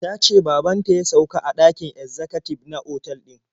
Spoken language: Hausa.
Ta ce baban ta ya sauka a ɗakin ezzakatib a otal din.